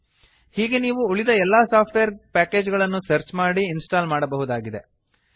ಹೀಗೆಯೇ ನೀವು ಉಳಿದ ಎಲ್ಲಾ ಸಾಫ್ಟ್ವೇರ್ ಪ್ಯಾಕೇಜ್ ಗಳನ್ನು ಸರ್ಚ್ ಮಾಡಿ ಇನ್ಸ್ಟಾಲ್ ಮಾಡಬಹುದಾಗಿದೆ